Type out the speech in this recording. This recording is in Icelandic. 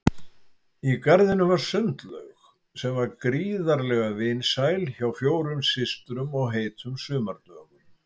Í garðinum var sundlaug sem var gríðarlega vinsæl hjá fjórum systrum á heitum sumardögum.